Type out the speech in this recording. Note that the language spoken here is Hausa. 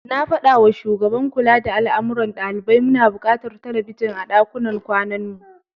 Na faɗawa shugaban kula da al'amuran ɗalibai muna buƙatar telebijin a ɗakunan kwanan mu.